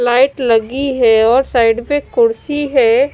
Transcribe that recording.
Light लगी है और साइड पे कुर्सी है।